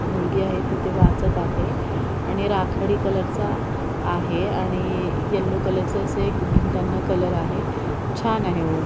मुलगी आहे तिथे वाचत आहे आणि राखाडी कलर चा आहे आणि येल्लो कलरच अस एक भिंताना कलर आहे छान आहे वर--